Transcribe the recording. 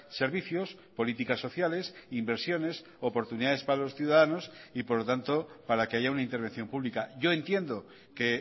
servicios políticas sociales inversiones oportunidades para los ciudadanos y por lo tanto para que haya una intervención pública yo entiendo que